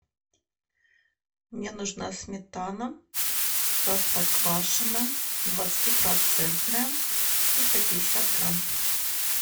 мне нужна сметана простоквашино двадцатипроцентная триста пятьдесят грамм